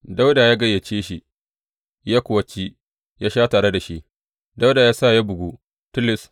Dawuda ya gayyace shi, ya kuwa ci ya sha tare da shi, Dawuda ya sa ya bugu tilis.